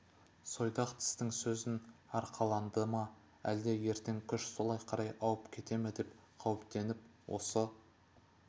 сойдақ тістің сөзін арқаланды ма әлде ертең күш солай қарай ауып кете ме деп қауіптеніп осы